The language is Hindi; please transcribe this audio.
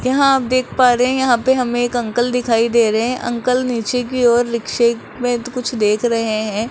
यहां आप देख पा रहे हैं यहां पे हमें एक अंकल दिखाई दे रहे हैं अंकल नीचे की ओर रिक्शे में कुछ देख रहे हैं।